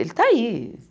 Ele está aí.